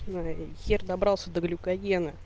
ну и хер добрался до глюкогена